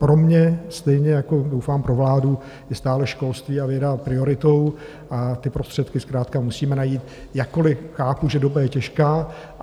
Pro mě, stejně jako doufám pro vládu, je stále školství a věda prioritou a ty prostředky zkrátka musíme najít, jakkoli chápu, že doba je těžká.